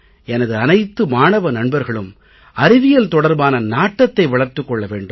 எனது அனைத்து மாணவ நண்பர்களும் அறிவியல் தொடர்பான நாட்டத்தை வளர்த்துக் கொள்ள வேண்டும்